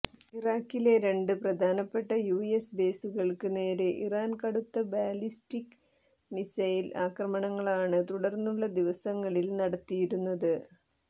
ഇറാക്കിലെ രണ്ട് പ്രധാനപ്പെട്ട യുഎസ് ബേസുകൾക്ക് നേരെ ഇറാൻ കടുത്ത ബാലിസ്റ്റിക് മിസൈൽ ആക്രണങ്ങളാണ് തുടർന്നുള്ള ദിവസങ്ങളിൽ നടത്തിയിരുന്നത്